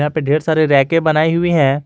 यहां पे ढेर सारे रैके बनायी हुई है।